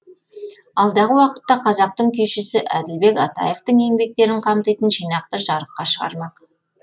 алдағы уақытта қазақтың күйшісі әділбек атаевтың еңбектерін қамтитын жинақты жарыққа шығармақ